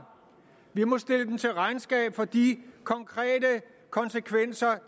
vi må stille dem til regnskab for de konkrete konsekvenser